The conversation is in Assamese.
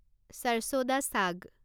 ছৰছো দা ছাগ